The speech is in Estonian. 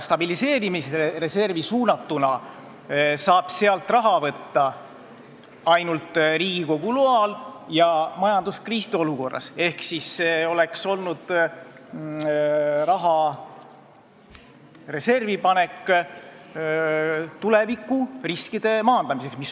Stabiliseerimisreservist saab raha võtta ainult Riigikogu loal ja majanduskriisi olukorras ehk raha sinna panek maandab tulevikuriske.